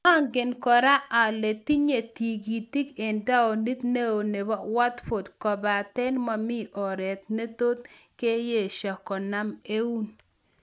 Angen kora ale tinye tigitik en taonit neo nebo Watford kobaten momi oret ne tot keyeshe kenam eun.